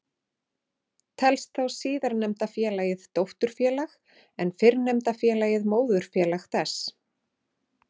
Telst þá síðarnefnda félagið dótturfélag en fyrrnefnda félagið móðurfélag þess.